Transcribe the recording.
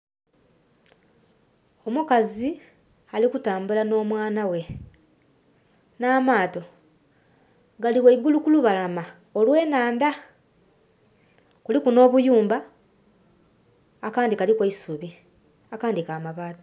Omukazi ali kutambula no mwana we na maato gali waigulu kulubalama olwe naandha. Kuliku no buyumba, akandi kaliku eisubi akandi ka mabaati.